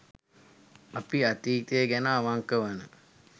අපි අතීතය ගැන අවංක වන